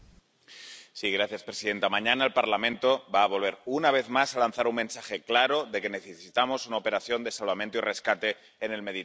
Señora presidenta, mañana el Parlamento va a volver, una vez más, a lanzar un mensaje claro de que necesitamos una operación de salvamento y rescate en el Mediterráneo